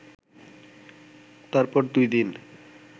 তারপর দুই দিন